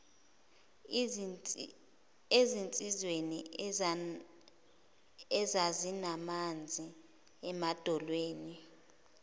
ezinsizweni ezazinamanzi emadolweni